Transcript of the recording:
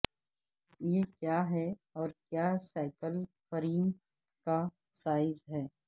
یہ کیا ہے اور کیا سائیکل فریم کا سائز ہے